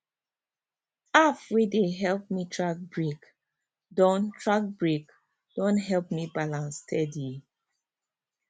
app wey dey help me track break don track break don help me balance steady